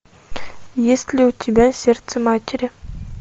есть ли у тебя сердце матери